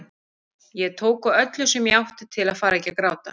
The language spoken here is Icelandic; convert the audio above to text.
Ég tók á öllu sem ég átti til að fara ekki að gráta.